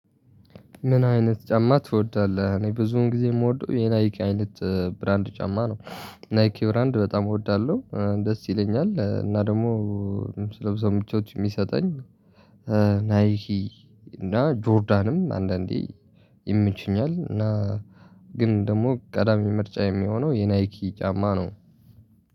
ምን አይነት ጫማ ትወዳለህ? እኔ ብዙውን ጊዜ የምወደው የናይኪ አይነት ብራንድ ጫማ ነው። ናይኪ ብራንድ በጣም እወዳለሁ ደስ ይለኛል። እና ደግሞ ስለብሰው ምቾት የሚሰጠኝ ናይኪ እና ጆርዳንም አንዳንዴ ይምችኛል። እና ግን ደግሞ ቀዳሚ ምርጫ የሚሆነው የናይኪ ጫማ ነው።